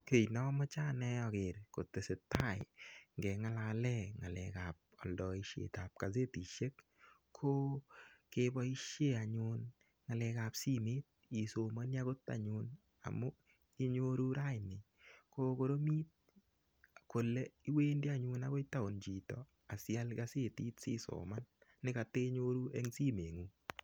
Kiy nomoche ane aker ngengalale ng'alek ap oldoishet ap kasetishek ko keboishe anyun ng'alek ap simet isomoni akot anyun amu inyoru raini kokoromit kole iwendi anyun akoi taun chito asial kasetit sisoman nikatenyoru eng simengung.